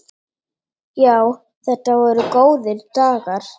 Já, þetta voru góðir dagar.